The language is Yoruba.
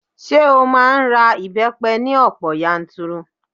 Ṣé ó máa ń ra ìbẹ́pẹ ní ọ̀pọ̀ yanturu?